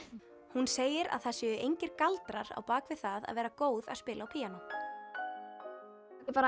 hún segir að það séu engir galdrar á bak við það að vera góð að spila á píanó ég bara